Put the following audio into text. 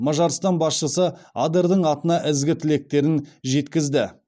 мажарстан басшысы адердің атына ізгі тілектерін жеткізді